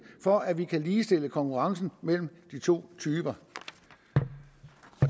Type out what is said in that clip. for at vi kan ligestille konkurrencen mellem de to typer